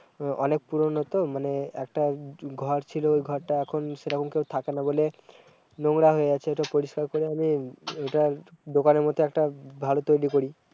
অ-অনেক পুরনো তো, মানে একটা ঘ-ঘর ছিল ওই ঘরটা এখন সেইরকম কেও থাকেনা বলে, নোংরা হয়ে আছে ঐটা পরিষ্কার করে আমি-ম ওটা দোকানের মতো একটা ভালো তৈরি করি-